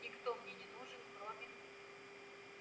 никто мне не нужен кроме